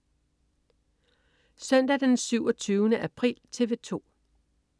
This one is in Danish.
Søndag den 27. april - TV 2: